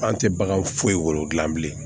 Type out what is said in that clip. An tɛ bagan foyi wolo dilan bilen